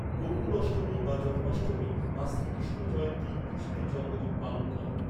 গোকুল অষ্টমী বা জন্মাষ্টমী বা শ্রী কৃষ্ণ জয়ন্তী কৃষ্ণের জন্মদিন পালন করে।